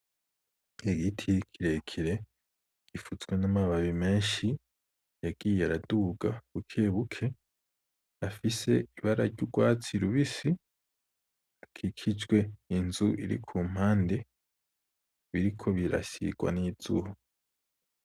Igiti kirekire, gifutswe n’amababi menshi yagiye araduga bukebuke afise ibara ry’urwatsi rubisi akikijwe n’inzu iri ku mpande biriko birasigwa n’izuba.